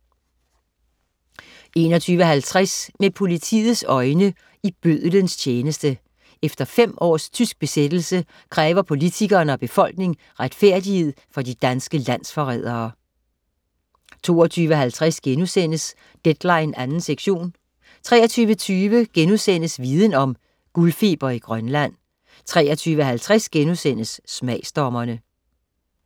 21.50 Med politiets øjne: I bødlens tjeneste. Efter fem års tysk besættelse kræver politikere og befolkning retfærdighed for de danske landsforrædere 22.50 Deadline 2. sektion* 23.20 Viden Om: Guldfeber i Grønland* 23.50 Smagsdommerne*